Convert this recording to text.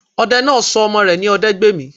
Odẹ náà sọ ọmọ rẹ̀ ní Odẹgbèmí